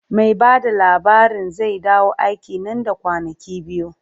Mai ba da labarin zai dawo aiki nan da kwanaki biyu.